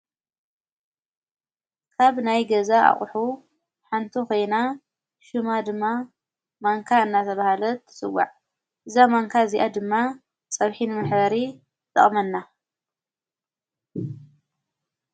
ካብ ናይ ገዛ ኣቝሑ ሓንቱ ኾይና ሹማ ድማ ማንካ እናብሃለት ትስዋዕ ዛ ማንካ እዚኣ ድማ ጸብኂን ምኅሪ ጠቕመና፡፡